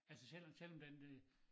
Altså selvom selvom den øh